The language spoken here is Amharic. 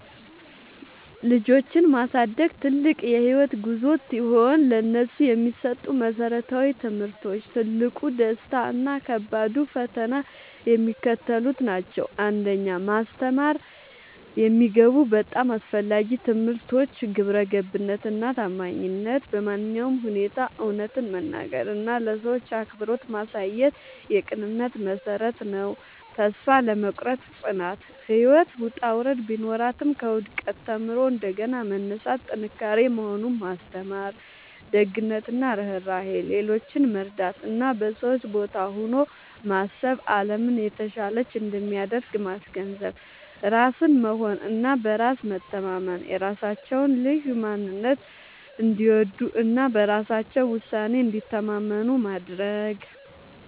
ልጆችን ማሳደግ ትልቅ የህይወት ጉዞ ሲሆን፥ ለነሱ የሚሰጡ መሰረታዊ ትምህርቶች፣ ትልቁ ደስታ እና ከባዱ ፈተና የሚከተሉት ናቸው 1. ማስተማር የሚገቡ በጣም አስፈላጊ ትምህርቶች ግብረገብነት እና ታማኝነት በማንኛውም ሁኔታ እውነትን መናገር እና ለሰዎች አክብሮት ማሳየት የቅንነት መሠረት ነው። ተስፋ አለመቁረጥ (ጽናት)፦ ህይወት ውጣ ውረድ ቢኖራትም፣ ከውድቀት ተምሮ እንደገና መነሳት ጥንካሬ መሆኑን ማስተማር። ደግነት እና ርህራሄ፦ ሌሎችን መርዳት እና በሰዎች ቦታ ሆኖ ማሰብ አለምን የተሻለች እንደሚያደርግ ማስገንዘብ። ራስን መሆን እና በራስ መተማመን፦ የራሳቸውን ልዩ ማንነት እንዲወዱ እና በራሳቸው ውሳኔ እንዲተማመኑ ማድረግ።